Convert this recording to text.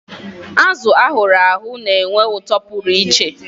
Azụ ahuru ahu na-enwe ụtọ pụrụ iche.